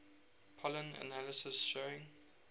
pollen analysis showing